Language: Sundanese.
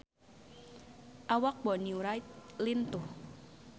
Awak Bonnie Wright lintuh